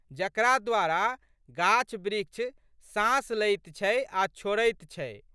जकरा द्वारा गाछबृक्ष साँस लैत छै आ छोड़ैत छै।